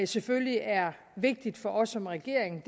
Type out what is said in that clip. selvfølgelig er vigtigt for os som regering